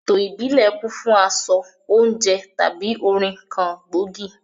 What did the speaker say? Eto ìbílẹ̀ kún fún aṣọ, oúnjẹ tàbí orin kan gbòógì.